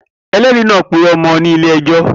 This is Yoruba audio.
Elẹ́ẹ̀rí náà purọ́ mọ́ ọ ní ilé ẹjọ́